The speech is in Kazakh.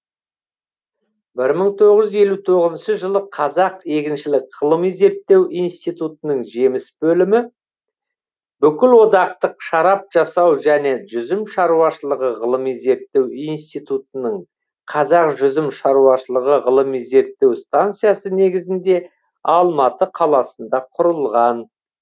бір мың тоғыз жүз елу тоғызыншы жылы қазақ егіншілік ғылыми зерттеу институтының жеміс бөлімі бүкілодақтық шарап жасау және жүзім шаруашылығы ғылыми зерттеу институтының қазақ жүзім шаруашылығы ғылыми зертеу станциясы негізінде алматы қаласында құрылған